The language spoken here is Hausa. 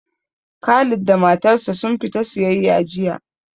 Khalid da matar sa sun fita siyayya jiya